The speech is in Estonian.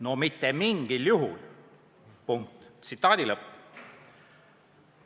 No mitte mingil juhul!